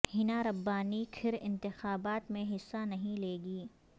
حنا ربانی کھر انتخابات میں حصہ نہیں لیں گی